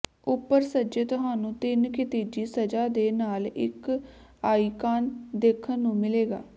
ਉੱਪਰ ਸੱਜੇ ਤੁਹਾਨੂੰ ਤਿੰਨ ਖਿਤਿਜੀ ਸਜ਼ਾ ਦੇ ਨਾਲ ਇੱਕ ਆਈਕਾਨ ਦੇਖਣ ਨੂੰ ਮਿਲੇਗਾ